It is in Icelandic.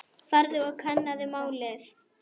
Farðu og kannaðu málið.